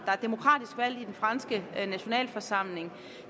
er demokratisk valgt i den franske nationalforsamling